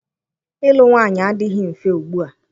Ịlụ nwaanyị adịghị mfe ugbua.